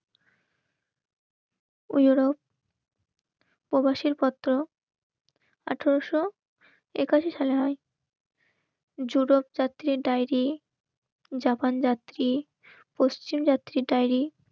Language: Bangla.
উরোপ প্রবাসের পত্র আঠারোশো একাশি সালে হয় জুলক জাতীয় ডায়েরি জাপান যাত্রী পশ্চিম যাত্রী ডাইরি